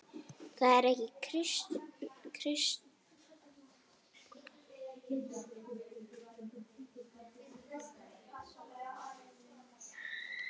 Það er ekki kristin hugsun.